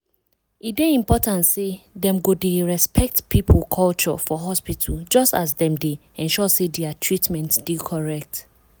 e dey important say dem go dey respect people culture for hospital just as dem dey ensure say dia treatment dey correct.